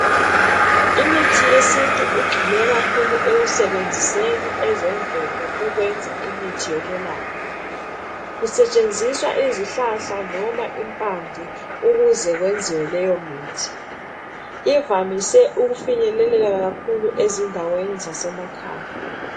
Imithi yesintu igxile kakhulu ekusebenziseni ezemvelo ukwenza imithi yokwelapha kusetshenziswa izihlahla noma impande ukuze kwenziwe leyomithi. Ivamise ukufinyeleleka kakhulu ezindaweni zasemakhaya.